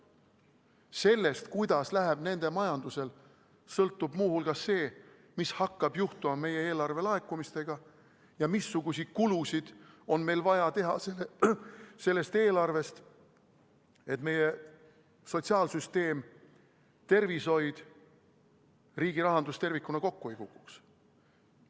Sellest, kuidas läheb nende majandusel, sõltub muu hulgas see, mis hakkab juhtuma meie eelarvelaekumistega ja missuguseid kulutusi on meil vaja teha sellest eelarvest, et meie sotsiaalsüsteem, tervishoid, riigirahandus tervikuna kokku ei kukuks.